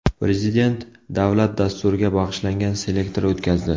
Prezident davlat dasturiga bag‘ishlangan selektor o‘tkazdi.